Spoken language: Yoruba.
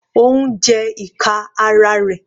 Ó ń jẹ ìka ara rẹ̀.